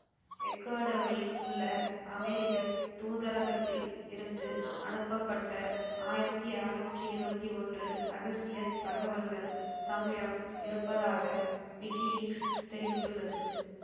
எக்குவடோரில் உள்ள அமெரிக்க தூதரகத்தில் இருந்து அனுப்பப்பட்ட ஆயிரத்தி அறுநூற்றி இருபவத்தி ஒன்று இரகசிய தகவல்கள் தம்மிடம் இருப்பதாக விக்கிலீக்ஸ் தெரிவித்துள்ளது